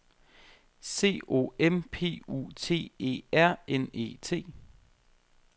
C O M P U T E R N E T